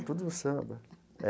É tudo no samba é.